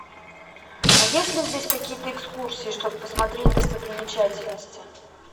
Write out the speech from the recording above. есть ли здесь какие то экскурсии чтобы посмотреть достопримечательности